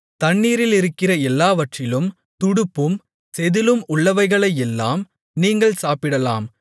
தண்ணீரிலிருக்கிற எல்லாவற்றிலும் துடுப்பும் செதிளும் உள்ளவைகளையெல்லாம் நீங்கள் சாப்பிடலாம்